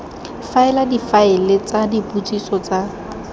faela difaele tsa dipotsiso tsa